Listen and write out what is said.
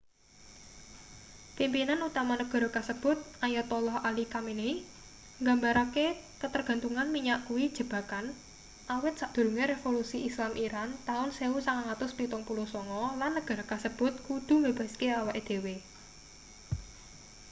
pimpinan utama negara kasebut ayatollah ali khamenei nggambarake katergantungan minyak kuwi jebakan awit sadurunge revolusi islam iran taun 1979 lan negara kasebut kudu mbebaske awake dhewe